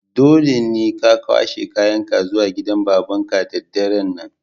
Dole ne ka kwashe kayan ka zuwa gidan baban ka da daren' nan!